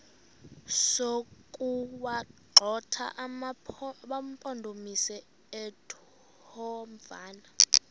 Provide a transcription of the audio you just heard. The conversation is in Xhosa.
sokuwagxotha amampondomise omthonvama